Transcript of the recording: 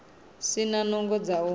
si na nungo dza u